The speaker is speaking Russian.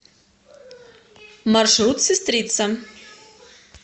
маршрут сестрица